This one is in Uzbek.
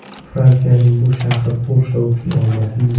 Fransiyaning bu shahri Polsha uchun omadli.